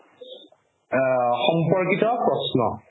আ সম্পকৰ প্ৰশ্ন